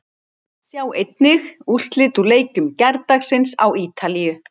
Sjá einnig: Úrslit úr leikjum gærdagsins á Ítalíu